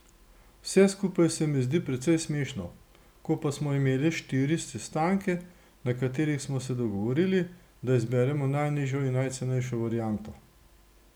Vse skupaj se mi zdi precej smešno, ko pa smo imeli štiri sestanke, na katerih smo se dogovorili, da izberemo najnižjo in najcenejšo varianto.